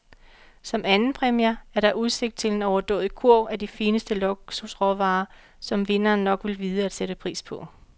Som andenpræmier er der udsigt til en overdådig kurv af de fineste luksusråvarer, som vinderen nok vil vide at sætte pris på.